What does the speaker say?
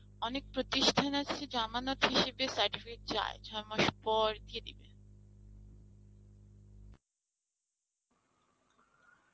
অনেক প্রতিষ্ঠান আছে জামানত হিসেবে certificate চায়, ছমাস পর দিয়ে দিবে